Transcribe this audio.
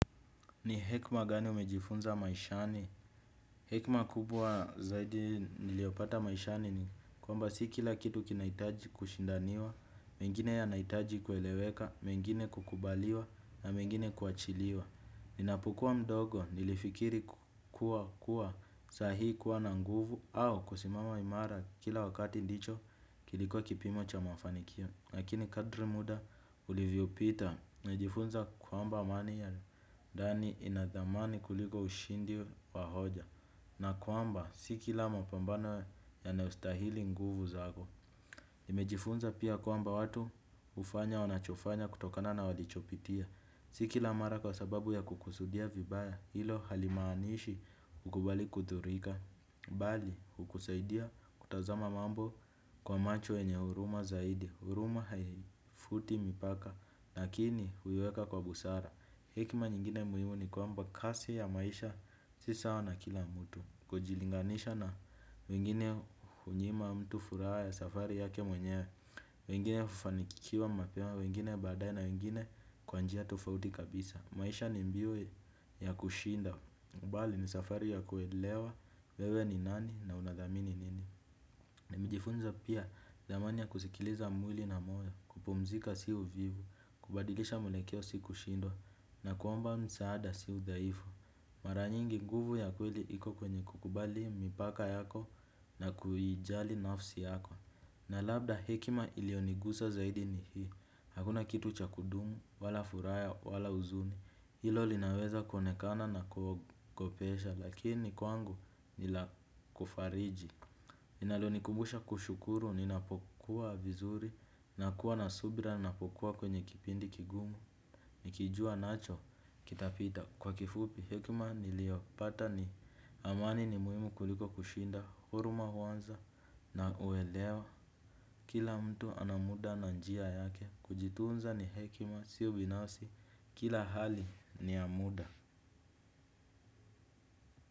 Ni hekma gani umejifunza maishani? Hekma kubwa zaidi niliopata maishani ni kwamba si kila kitu kinahitaji kushindaniwa, mengine yanahitaji kueleweka, mengine kukubaliwa na mengine kuachiliwa. Ninapokuwa mdogo nilifikiri kuwa kuwa saa hii kuwa na nguvu au kusimama imara kila wakati ndicho kiliko kipimo cha mafanikio. Lakini kadri muda ulivyopita, najifunza kwamba amani ya ndani inadhamani kuliko ushindi wa hoja. Na kwamba si kila mapambano yanayostahili nguvu zako. Nimejifunza pia kwamba watu hufanya wanachofanya kutokana na walichopitia. Si kila mara kwa sababu ya kukusudia vibaya, hilo halimaanishi ukubali kudhurika. Bali, hukusaidia kutazama mambo kwa macho yenye huruma zaidi huruma haifuti mipaka lakini huiweka kwa busara. Hekma nyingine muhimu ni kwamba kasi ya maisha si sawa na kila mtu. Kujilinganisha na wengine hunyima mtu furaha ya safari yake mwenyewe. Wengine hufanikiwa mapema. Wengine badae na wengine kwa njia tofauti kabisa. Maisha ni mbio ya kushinda bali ni safari ya kuelewa wewe ni nani na unadhamini nini. Na nimejifunza pia thamani ya kusikiliza mwili na moyo, kupumzika sio uvivu, kubadilisha mwelekeo si kushindwa na kuomba msaada sio udhaifu. Mara nyingi nguvu ya kweli iko kwenye kukubali mipaka yako na kuijali nafsi yako. Na labda hekima iliyonigusa zaidi ni hii, hakuna kitu cha kudumu, wala furaha, wala huzuni, hilo linaweza kuonekana na kukupesha lakini kwangu nilakufariji linalonikumbusha kushukuru, ninapokuwa vizuri, nakuwa na subira, ninapokuwa kwenye kipindi kigumu, nikijua nacho, kitapita kwa kifupi, hekima niliopata ni amani ni muhimu kuliko kushinda, huruma huanza na uelewa, kila mtu ana muda na njia yake, kujitunza ni hekima, si ubinafsi, kila hali ni ya muda.